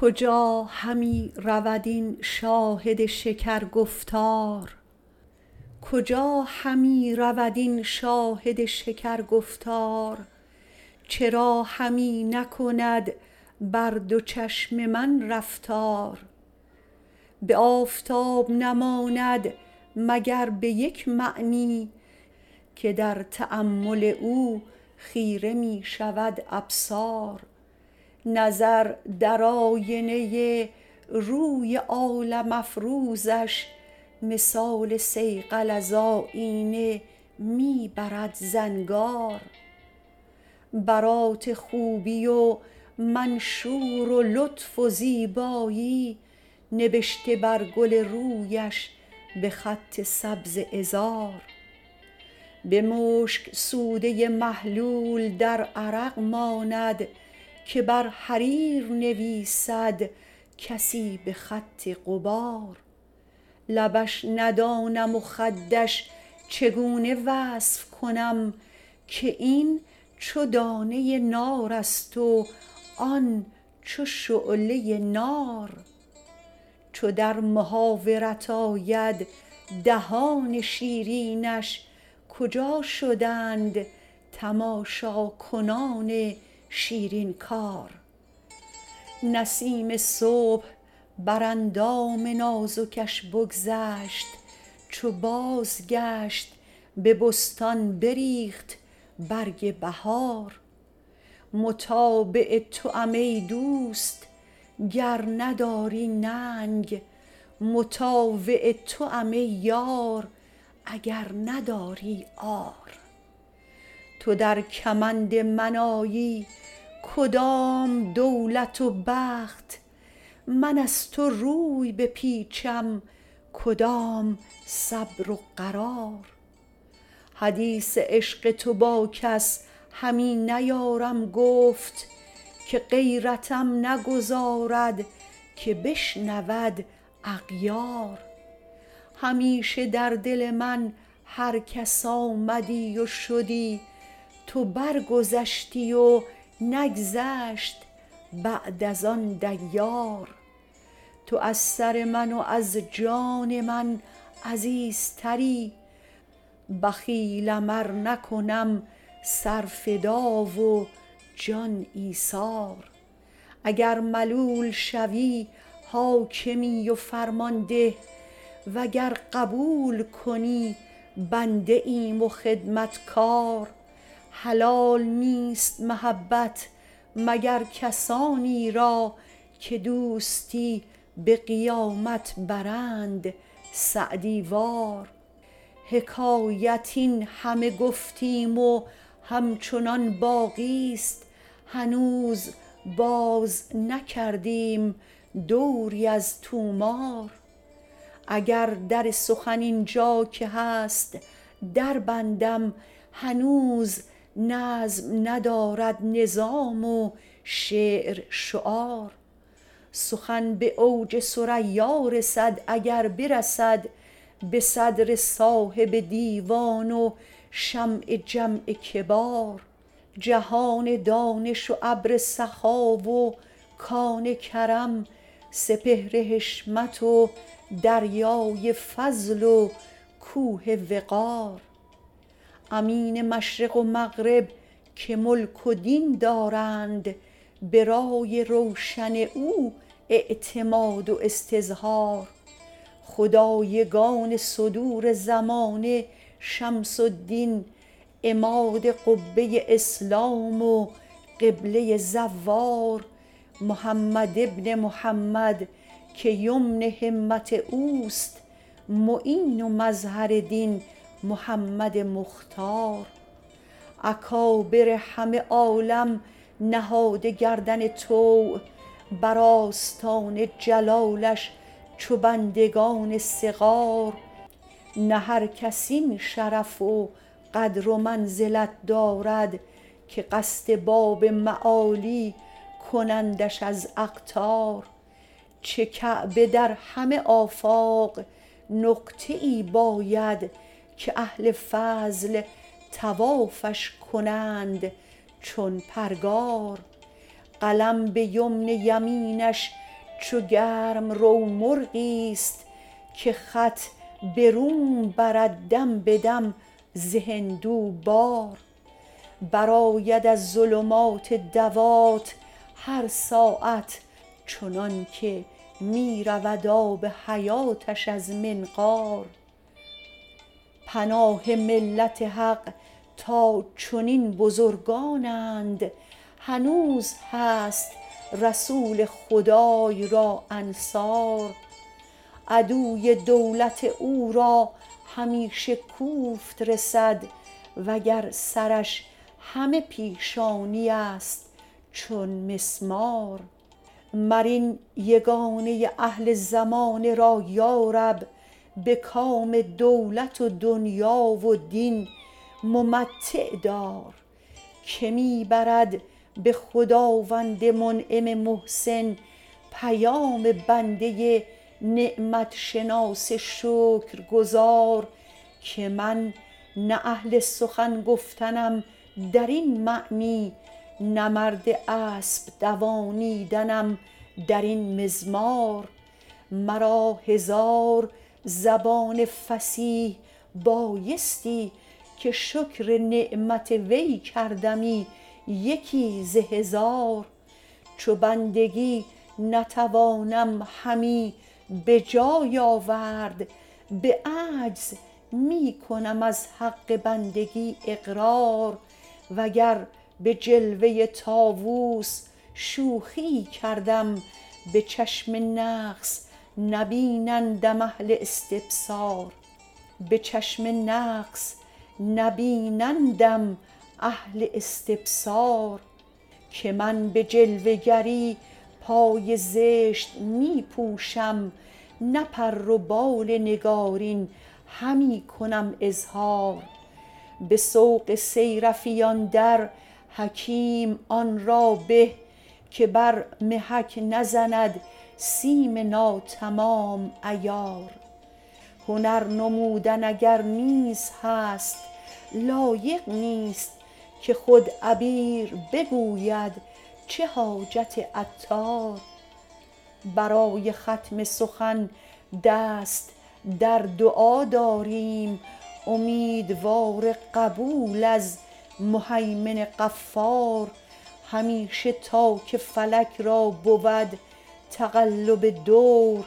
کجا همی رود این شاهد شکر گفتار چرا همی نکند بر دو چشم من رفتار به آفتاب نماند مگر به یک معنی که در تأمل او خیره می شود ابصار نظر در آینه روی عالم افروزش مثال صیقل از آیینه می برد زنگار برات خوبی و منشور لطف و زیبایی نبشته بر گل رویش به خط سبز عذار به مشک سوده محلول در عرق ماند که بر حریر نویسد کسی به خط غبار لبش ندانم و خدش چگونه وصف کنم که این چو دانه نارست و آن چو شعله نار چو در محاورت آید دهان شیرینش کجا شدند تماشا کنان شیرین کار نسیم صبح بر اندام نازکش بگذشت چو بازگشت به بستان بریخت برگ بهار متابع توام ای دوست گر نداری ننگ مطاوع توام ای یار اگر نداری عار تو در کمند من آیی کدام دولت و بخت من از تو روی بپیچم کدام صبر و قرار حدیث عشق تو با کس همی نیارم گفت که غیرتم نگذارد که بشنود اغیار همیشه در دل من هر کس آمدی و شدی تو برگذشتی و نگذشت بعد از آن دیار تو از سر من و از جان من عزیزتری بخیلم ار نکنم سر فدا و جان ایثار اکر ملول شوی حاکمی و فرمان ده وگر قبول کنی بنده ایم و خدمت کار حلال نیست محبت مگر کسانی را که دوستی به قیامت برند سعدی وار حکایت این همه گفتیم و هم چنان باقی است هنوز باز نکردیم دوری از طومار اگر در سخن این جا که هست دربندم هنوز نظم ندارد نظام و شعر شعار سخن به اوج ثریا رسد اگر برسد به صدر صاحب دیوان و شمع جمع کبار جهان دانش و ابر سخا و کان کرم سپهر حشمت و دریای فضل و کوه وقار امین مشرق و مغرب که ملک و دین دارند به رای روشن او اعتماد و استظهار خدایگان صدور زمانه شمس الدین عماد قبه اسلام و قبله زوار محمد بن محمد که یمن همت اوست معین و مظهر دین محمد مختار اکابر همه عالم نهاده گردن طوع بر آستان جلالش چو بندگان صغار نه هر کس این شرف و قدر و منزلت دارد که قصد باب معالی کنندش از اقطار چه کعبه در همه آفاق نقطه ای باید که اهل فضل طوافش کنند چون پرگار قلم به یمن یمینش چو گرم رو مرغی است که خط به روم برد دم به دم ز هندو بار برآید از ظلمات دوات هر ساعت چنان که می رود آب حیاتش از منقار پناه ملت حق تا چنین بزرگانند هنوز هست رسول خدای را انصار عدوی دولت او را همیشه کوفت رسد وگر سرش همه پیشانی است چون مسمار مر این یگانه ی اهل زمانه را یارب به کام دولت و دنیا و دین ممتع دار که می برد به خداوند منعم محسن پیام بنده نعمت شناس شکرگزار که من نه اهل سخن گفتنم درین معنی نه مرد اسپ دوانیدنم در این مضمار مرا هزار زبان فصیح بایستی که شکر نعمت وی کردمی یکی ز هزار چو بندگی نتوانم همی به جای آورد به عجز می کنم از حق بندگی اقرار وگر به جلوه طاوس شوخیی کردم به چشم نقص نبینندم اهل استبصار که من به جلوه گری پای زشت می پوشم نه پر و بال نگارین همی کنم اظهار به سوق صیرفیان در حکیم آن را به که بر محک نزند سیم ناتمام عیار هنر نمودن اگر نیز هست لایق نیست که خود عبیر بگوید چه حاجت عطار برای ختم سخن دست در دعا داریم امیدوار قبول از مهیمن غفار همیشه تا که فلک را بود تقلب دور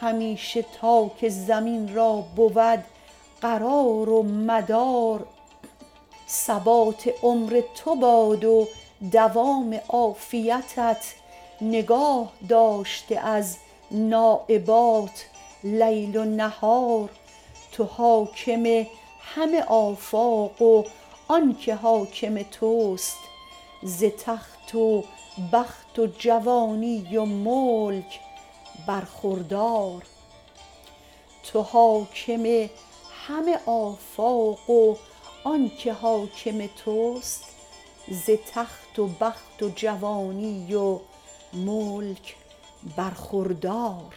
همیشه تا که زمین را بود قرار و مدار ثبات عمر تو باد و دوام عافیتت نگاه داشته از نایبات لیل و نهار توحاکم همه آفاق و آنکه حاکم تست ز تخت و بخت و جوانی و ملک برخوردار